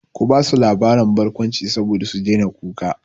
Ki basu labarin barkwanci saboda su daina kuka!